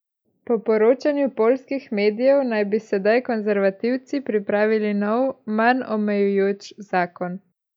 Po poročanju poljskih medijev naj bi sedaj konservativci pripravili nov, manj omejujoč zakon.